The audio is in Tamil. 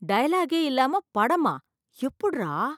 டயலாக்கே இல்லாம படமா, எப்புட்றா?